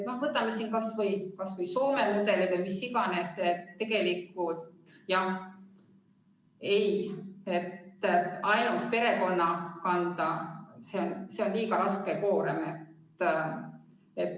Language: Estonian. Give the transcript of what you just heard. Tegelikult, jah, kui see on ainult perekonna kanda, siis see on liiga raske koorem.